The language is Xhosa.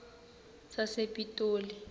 sasepitoli